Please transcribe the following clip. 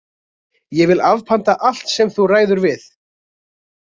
Ég vil afpanta allt sem þú ræður við!